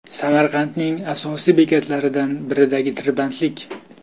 Samarqandning asosiy bekatlaridan biridagi tirbandlik .